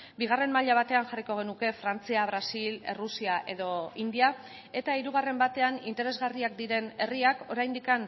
bigarren maila batean jarriko genuke frantzia brasil errusia edo india eta hirugarren batean interesgarriak diren herriak oraindik